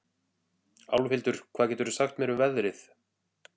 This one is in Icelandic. Álfhildur, hvað geturðu sagt mér um veðrið?